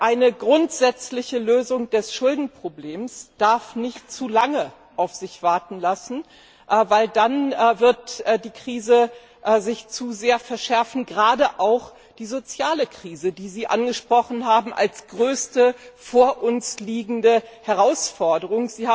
Eine grundsätzliche Lösung des Schuldenproblems darf nicht zu lange auf sich warten lassen, denn dadurch wird sich die Krise zu sehr verschärfen, gerade auch die soziale Krise, die Sie angesprochen haben als größte vor uns liegende Herausforderung.